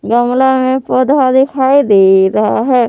गमला में पौधा दिखाई दे रहा है।